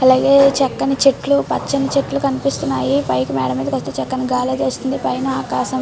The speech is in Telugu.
అలాగే చక్కని చెట్లు పచ్చని చెట్లు అలాగే ఆకాశం మీద కి వెళ్తే గాలిఐన వస్తుంది పైన ఆకాశం.